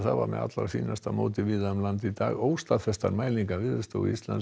var með fínasta móti víða um land í dag og óstaðfestar mælingar Veðurstofu Íslands